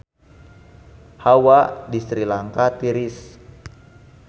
Hawa di Sri Lanka tiris